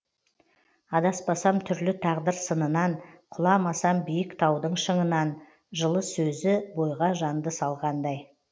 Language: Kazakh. адаспасам түрлі тағдыр сынынан құламасам биік таудың шыңынан жылы сөзі бойға жанды салғандай